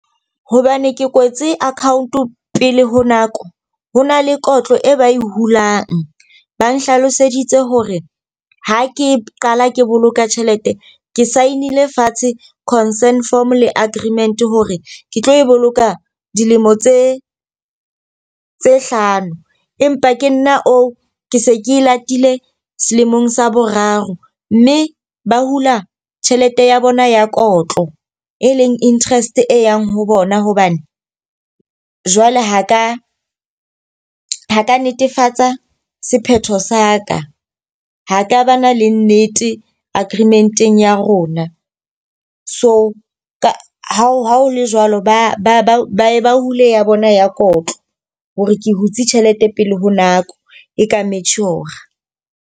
Hobane ke kwetse account pele ho nako, ho na le kotlo e ba e hulang. Ba nhlaloseditse hore ha ke qala ke boloka tjhelete ke sign-ile fatshe concent form le aggreement hore ke tlo e boloka dilemo tse tse hlano. Empa ke nna oo, ke se ke latile selemong sa boraro. Mme ba hula tjhelete ya bona ya kotlo e leng interest e yang ho bona hobane jwale ho ka ho ka netefatsa sephetho sa ka. Ha ka ba na le nnete aggreement-eng ya rona so ka ha ha ho le jwalo, ba hule ya bona ya kotlo. Hore ke hutse tjhelete pele ho nako e ka mature-ra.